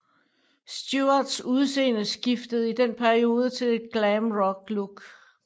Stewarts udseende skiftede i den periode til et glam rock look